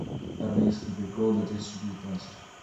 армейские приколы две тысячи девятнадцать